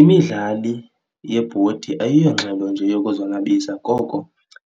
Imidlali yebhodi ayiyo ngxelo nje yokuzonwabisa koko